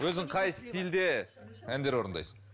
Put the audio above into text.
өзің қай стильде әндер орындайсың